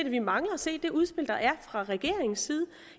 at vi mangler at se et udspil fra regeringens side